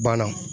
Banna